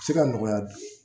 Se ka nɔgɔya